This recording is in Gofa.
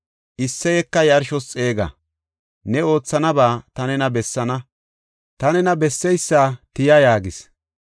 Isseyeka yarshos xeega. Ne oothanaba ta nena bessaana; ta nena besseysa tiya” yaagis.